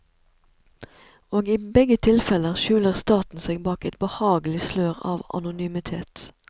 Og i begge tilfeller skjuler staten seg bak et behagelig slør av anonymitet.